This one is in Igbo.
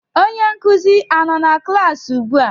Onye nkuzi a-nọ na klaasị ugbua?